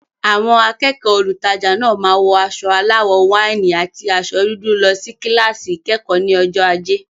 Àwọn akẹ́kọ̀ọ́ olùtajà náà máa wọ aṣọ aláwọ̀ wáìnì àti aṣọ dúdú lọ sí kíláàsì ìkẹ́kọ̀ọ́ ní ọjọ́ ajé.